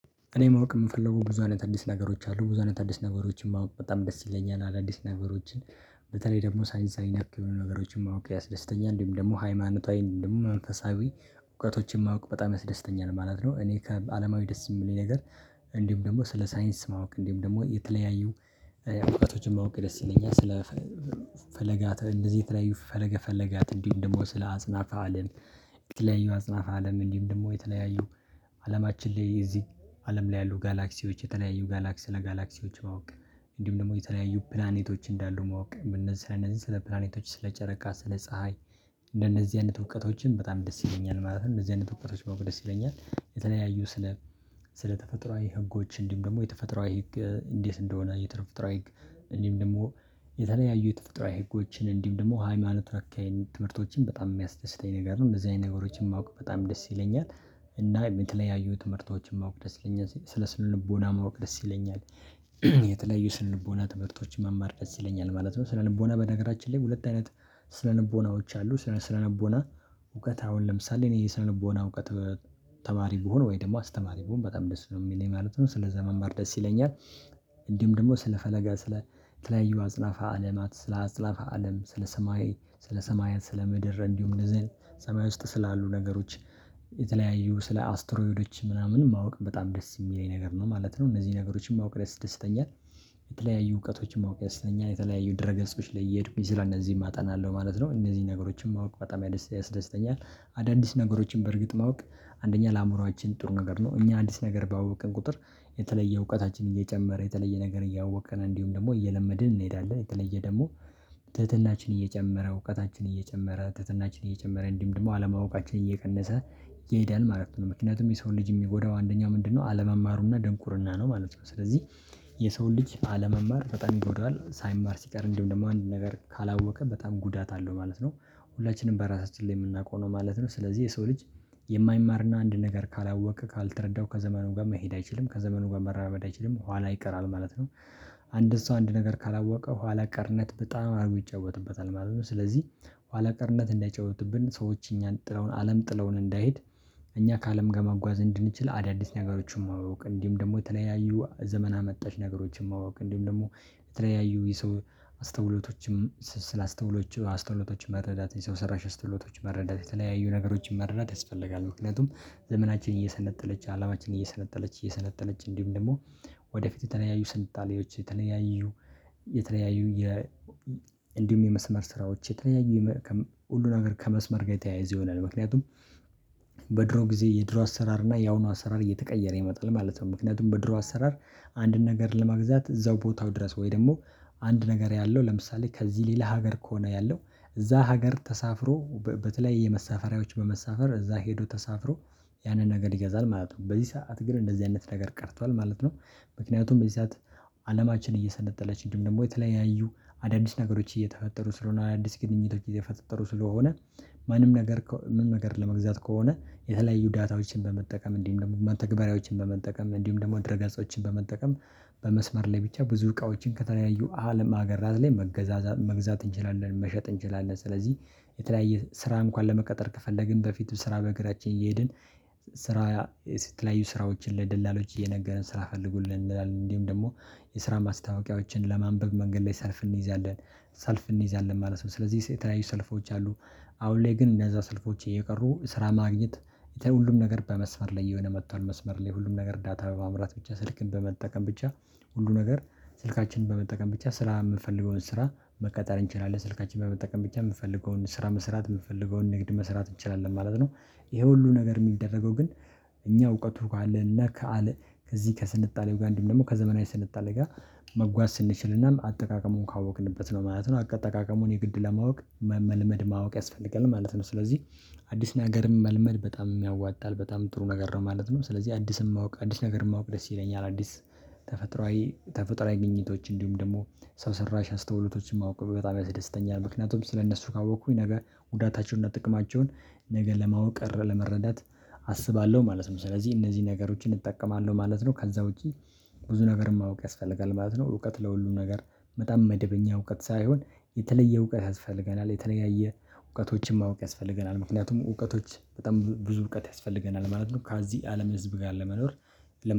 እኔ ማወቅ የምፈልገው ብዙ አይነት አዲስ ነገሮች አሉ ብዙ አይነት አዲስ ነገሮችን ማወቅ በጣም ደስ ይለኛል አዳዲስ ነገሮችን በተለይ ደግሞ ሳይንሳዊ ነክ የሆኑ ነገሮችን ማወቅ ያስደስተኛል እንዲሁም ደግሞ ሃይማኖታዊ እንዲሁም መንፈሳዊ እውቀቶችን ማወቅ በጣም ያስደስተኛል ማለት ነው። እኔ ከአለማዊ ደስ የማል ነገር እንዲሁም ደግሞ ስለ ሳይንስ ማወቅ እንዲሁም ደግሞ የተለያዩ እውቀቶችን ማወቅ ደስ ይለኛል። ስለ ፈለጋት እንደዚህ የተለያዩ ፈለገ ፈለጋት እንዲሁም ደሞ ስለ አጽናት አለም። የተለያዩ አጽናፈ አለም እንዲሁም ደግሞ የተለያዩ አለማችን ላይ የዚህ አለም ላይ ያሉ ጋላክሲዎች የተለያዩ ጋላክሲ ለጋላክሲዎች ማወቅ። እንዲሁም ደግሞ የተለያዩ ፕላኔቶች እንዳሉ ማወቅ በነዚህ ስለ እነዚህ ስለ ፕላኔቶች ስለ ጨረቃ ስለ ፀሀይ እንደነዚህ አይነት እውቀቶችም በጣም ደስ ይለኛል ማለት ነው። እዚህ አይነት እውቀቶች ባውቅ ደስ ይለኛል። የተለያዩ ስለ ስለ ተፈጥሮአዊ ህጎች እንዲም ደግሞ የተፈጥሮአዊ ህግ እንዴት እንደሆነ የተፈጥሯዊ ህግ። እንዲሁም ደሞ የተለያዩ የተፈጥሯዊ ህጎችን እንዲሁም ደግሞ ሃይማኖት ራካዬን ትምህርቶችን በጣም የሚያስደስተኝ ነገር ነው እንደዚህ አይነት ነገሮችን ማውቅ በጣም ደስ ይለኛል። እናም የተለያዩ ትምህርቶችን ማወቅ ደስ ይለኛል ስለ ስነ ልቦና ማወቅ ደስ ይለኛል። የተለያዩ ስነ ልቦና ትምህርቶች መማር ደስ ይለኛል ማለት ነው። ስለ ልቦና በነገራችን ላይ ሁለት አይነት ስለ ልቦናዎች አሉ። ስለ ስነ ልቦና እውቀት አሁን ለምሳሌ እኔ የስነ ልቦና እውቀት ተማሪ ብሆን ወይ ደግሞ አስተማሪ ብሆን በጣም ደስ ነው የሚለኝ ማለት ነው። ስለዛ መማር ደስ ይለኛል። እንዲሁም ደግሞ ስለፈለገ ስለ ተለያዩ አጽናፈ አለማት ስለ አጾናፈ አለም ስለ ሰማይ ስለ ሰማያት ስለ ምድር እንዲሁም እንደዚዘዝ አይነት ሰማይ ውስጥ ስላሉ ነገሮች የተለያዩ ስለ አስትሮይዶች ምናምን ማወቅ በጣም ደስ የሚለኝ ነገር ነው ማለት ነው። እነዚህ ነገሮችን ማወቅ ያስደስተኛል። የተለያዩ እውቀቶችን ማወቅ ደስ ይለኛል። የተለያዩ ድረገፆች ላይ እየሄድኩኝ ስራ እነዚህም አጠናለሁ ማለት ነው። እነዚህን ነገሮችም ማወቅ በጣም ያደስተኛል። አዳዲስ ነገሮችን በእርግጥ ማወቅ አንደኛ ለአእምሮአችን ጥሩ ነገር ነው። እኛ አዲስ ነገር ባወቅን ቁጥር የተለየ እውቀታችን እየጨመረ የተለየ ነገር እያወቅን እንዲሁም ደግሞ እየለመድን እንሄዳለን የተለየ ደግሞ ትህትናችን እየጨመረ እውቀታችን እየጨመረ ትህትናችን እየጨመረ እንዲሁም ደሞ አለማወቃችን እየቀነሰ ይሄዳል ማለት ነው። ምክንያቱም የሰውን ልጅ የሚጎዳው አንደኛው ምንድነው? አለመማሩና ድንቁርና ነው ማለት ነው። ስለዚህ የሰውን ልጅ አለመማር በጣም ይጎዳል ሳይማር ሲቀር እንዲሁም ደግሞ አንድን ነገር ካላወቀ በጣም ጉዳት አለው ማለት ነው። ሁላችንም በራሳችን ላይ የምናውቀው ነው ማለት ነው። ስለዚህ የሰው ልጅ የማይማርና አንድ ነገር ካላወቀ ካልተረዳው ከዘመኑ ጋር መሄድ አይችልም ከዘመኑ ጋር መራመድ አይችልም ኋላ ይቀራል ማለት ነው። አንድን ሰው አንድ ነገር ካላወቀ ኋላ ቀርነት በጣም አድርጎ ይጫወትበታል ማለት ነው። ስለዚህ ኋላ ቀርነት እንዳይጫወትብን ሰዎች እኛን ጥለውን አለም ጥለውን እንዳይሄድ። እኛ ከአለም ጋር መጓዝ እንድንችል አዳዲስ ነገሮችን ማወቅ እንዲሁም ደግሞ የተለያዩ ዘመና አመጣሽ ነገሮችን ማወቅ እንዲሁም ደግሞ የተለያዩ የሰው አስተውሎቶችም ስለ አስተውሎች አስተውሎቶች መረዳት የሰው ሰራሽ አስተውሎቶች መረዳት የተለያዩ ነገሮችን መረዳት ያስፈልጋል። ምክንያቱም ዘመናችን እየሰለጠነች አለማችን እየሰለጠነች እየሰለጠነች እንዲሁም ደግሞ ወደፊት የተለያዩ ስልጣኔዎች የተለያዩ የተለያዩ የ እንዲሁም የመስመር ስራዎች የተለያዩ ሁሉ ነገር ከመስመር ጋር የተያያዘ ይሆናል። ምክንያቱም በድሮ ጊዜ የድሮ አሰራር እና ያሁኑ አሰራር እየተቀየረ ይመጣል ማለት ነው። ምክንያቱም በድሮ አሰራር አንድን ነገር ለመግዛት እዛው ቦታው ድረስ ወይ ደግሞ አንድ ነገር ያለው ለምሳሌ ከዚህ ሌላ ሀገር ከሆነ ያለው እዛ ሀገር ተሳፍሮ በተለይ የመሳፈሪያዎች በመሳፈር እዛ ሄዶ ተሳፍሮ ያንን ነገር ይገዛል ማለት ነው። በዚህ ሰዓት ግን እንደዚህ አይነት ነገር ቀርቷል ማለት ነው። ምክንያቱም በዚህ ሰዓት አለማችን እየሰለጠነች እንዲሁም ደግሞ የተለያዩ አዳዲስ ነገሮች እየተፈጠሩ ስለሆነ አዳዲስ ግንኙነት እየተፈጠሩ ስለሆነ ማንም ነገር ምንም ነገር ለመግዛት ከሆነ የተለያዩ ዳታዎችን በመጠቀም እንዲሁም ደሞ መተግበሪያዎችን በመጠቀም እንዲሁም ደግሞ ድረ ገፆችን በመጠቀም በመስመር ላይ ብቻ ብዙ እቃዎችን ከተለያዩ አለም አገራት ላይ መገዛዛ መግዛት እንችላለን። መሸጥ እንችላለን። ስለዚህ የተለያየ ስራ እንኳን ለመቀጠር ከፈለግን በፊትም ስራ በእግራችን እየሄድን ስራ የተለያዩ ስራዎችን ለደላሎች እየነገረን ስራ ፈልጉልን እንላለን እንዲሁም ደግሞ የስራ ማስታወቂያዎችን ለማንበብ መንገድ ላይ ሰልፍ እንይዛለን ሰልፍ እንይዛለን ማለት ነው። ስለዚህ የተለያዩ ሰልፎች አሉ። አሁን ላይ ግን እነዛ ሰልኮች እየቀሩ ስራ ማግኘት ብተይ ሁሉም ነገር በመስመር ላይ እየሆነ መጥቷል። መስመር ላይ ሁሉም ነገር ዳታ በማምራት ብቻ ስልክን በመጠቀም ብቻ ሁሉ ነገር ስልካችንን በመጠቀም ብቻ ስራ የምፈልገውን ስራ መቀጠር እንችላለን ስልካችን በመጠቀም ብቻ የምፈልገውን ስራ መስራት የምንፈልገውን ንግድ መስራት እንችላለን ማለት ነው። ይሄ ሁሉ ነገር የሚደረገው ግን እኛ እውቀቱ ካለን እና ከአለ ከዚህ ከስልጣኔው ጋ እንዲሁም ደግሞ ከዘመናዊ ስልጣኔ ጋ መጓዝ ስንችልናም አጠቃቀሙን ካወቅንበት ነው ማለት ነው። አጠቃቀሙን የግድ ለማወቅ መመልመድ ማወቅ ያስፈልጋል ማለት ነው። ስለዚህ አዲስ ነገርም መልመድ በጣምም ያዋጣል በጣም ጥሩ ነገር ነው ማለት ነው። ስለዚህ አዲስም የማውቅ አዲስ ነገር የማውቅ ደስ ይለኛል አዲስ ተፈጥሮአዊ ተፈጥሮአዊ ግኝቶች እንዲሁም ደግሞ ሰው ሰራሽ አስተውሎቶችን ማወቅ በጣም ያስደስተኛል። ምክንያቱም ስለእነሱ ካወቅኩኝ ነገ ጉዳታቸውን እና ጥቅማቸውን ነገ ለማወቅ ቀረ ለመረዳት አስባለሁ ማለት ነው። ስለዚህ እነዚህ ነገሮችን እጠቀማለሁ ማለት ነው። ከዛ ውጪ ብዙ ነገር ማወቅ ያስፈልጋል ማለት ነው። እውቀት ለሁሉም ነገር በጣም መደበኛ እውቀት ሳይሆን የተለየ እውቀት ያስፈልገናል የተለያየ እውቀቶችን ማወቅ ያስፈልገናል ምክንያቱም እውቀቶች በጣም ብዙ እውቀት ያስፈልገናል ማለት ነው። ከዚህ አለም ህዝብ ጋር ለመኖር